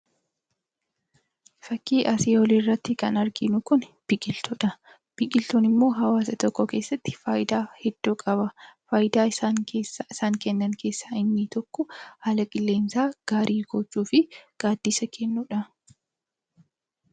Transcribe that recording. Fakkii asii olii irratti kan arginu kuni biqiltuudha. Biqiltuun immoo hawaasa tokko keessatti faayidaa hedduu qaba. Faayidaa isaan kennan keessaa inni tokko haala qilleensaa gaarii gochuu fi gaaddisa kennuudha.